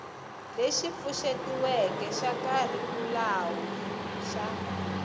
lexi pfuxetiweke xa kharikhulamu xa